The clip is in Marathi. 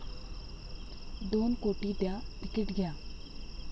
दोन कोटी द्या, तिकीट घ्या!